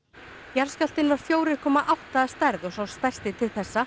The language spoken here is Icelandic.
jarðskjálftinn var fjórir komma átta að stærð og sá stærsti til þessa